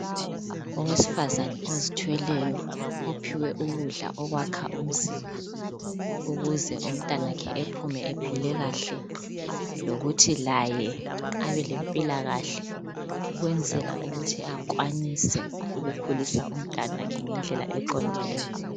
Owesifazane ozithweleyo ophiwe ukudla okwakha umzimba ukuze umntanakhe ephume ephile kahle lokuthi laye abe lempilakahle ukwenzela ukuthi akwanise ukukhulisa umntwanakhe ngendlela eqondileyo.